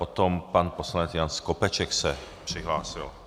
Potom pan poslanec Jan Skopeček se přihlásil.